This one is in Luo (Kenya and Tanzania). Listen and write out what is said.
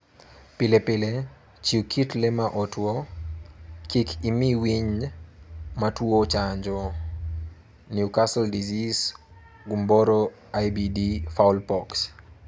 Pile pile, chiw kit le ma otwo, kik imi winy matuwo chanjo e.g. New Castle disease, gumboro (IBD) fowl pox